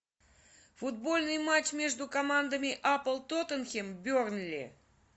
футбольный матч между командами апл тоттенхэм бернли